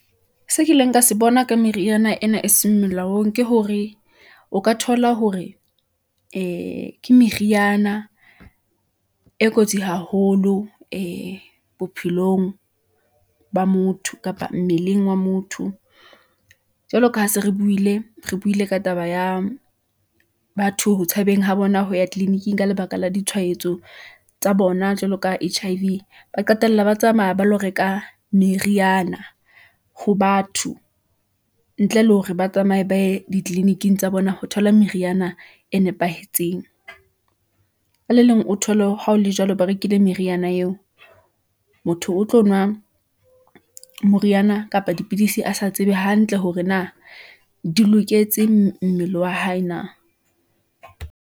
Se kileng ka se bona ka meriana ena e seng melaong, ke hore o ka thola hore e ke meriana , e kotsi haholo e bophelong , ba motho kapa mmeleng wa motho . Jwalo ka ha se re buile, re buile ka taba ya batho ho tshabeng ho bona ho ya tleliniking ka lebaka la ditshwaetso tsa bona, jwalo ka H_I_V, ba qetella ba tsamaya ba lo reka meriana ho batho , ntle le hore ba tsamaye ba ye ditleliniking tsa bona. Ho thola meriana e nepahetseng , ka le leng o thole ha o le jwalo, ba rekile meriana eo , motho o tlo nwa moriana kapa dipidisi a sa tsebe hantle hore na di loketse mmele wa hae na.